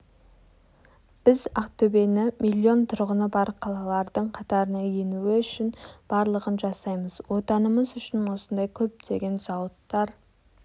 біз ақтөбені миллион тұрғыны бар қалалардың қатарына енуі үшін барлығын жасаймыз отанымыз үшін осындай көптеген зауыттар